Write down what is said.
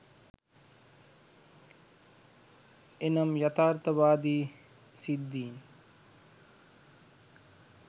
එනම් යථාර්ථවාදී සිද්ධීන්